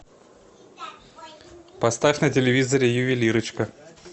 поставь на телевизоре ювелирочка